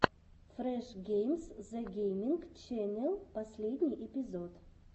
фреш геймс зэ гейминг ченел последний эпизод